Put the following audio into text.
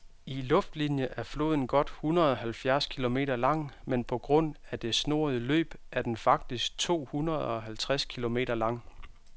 I luftlinie er floden godt hundredeoghalvfjerds kilometer lang, men på grund af det snoede løb er den faktisk tohundredeoghalvtreds kilometer lang.